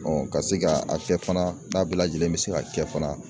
ka se ka a kɛ fana n'a bɛɛ lajɛlen bɛ se ka kɛ fana